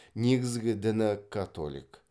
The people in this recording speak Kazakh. негізгі діні католик